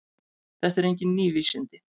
Þetta eru engin ný vísindi.